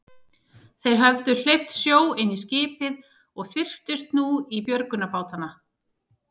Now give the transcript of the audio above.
Þeir höfðu hleypt sjó inn í skipið og þyrptust nú í björgunarbátana.